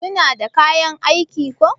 suna da kayan aiki ko?